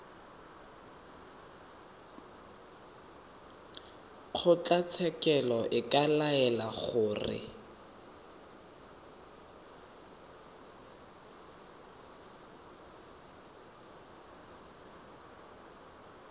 kgotlatshekelo e ka laela gore